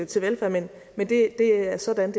til velfærd men det er sådan